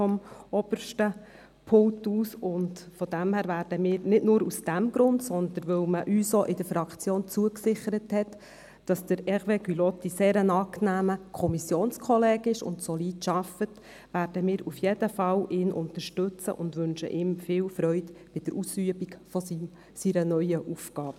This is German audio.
Daher, aber nicht nur aus diesem Grund, sondern weil man uns in der Fraktion versichert hat, dass Hervé Gullotti ein sehr angenehmer Kommissionskollege ist und solide arbeitet, werden wir ihn auf jeden Fall unterstützen und wünschen ihm viel Freude bei der Ausübung seiner neuen Aufgabe.